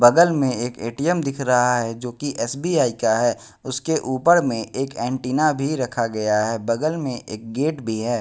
बगल में एक ए_टी_एम दिख रहा है जो की एस_बी_आई का है उसके ऊपर में एक एंटीना भी रखा गया है बगल में एक गेट भी है।